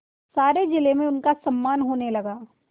सारे जिले में उनका सम्मान होने लगा